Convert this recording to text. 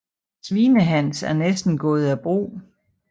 Svinehans er næsten gået af brug